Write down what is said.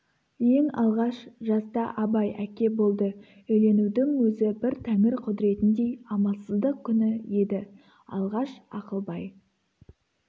ең алғаш жаста абай әке болды үйленудің өзі бір тәңір құдіретіндей амалсыздық күні еді алғаш ақылбай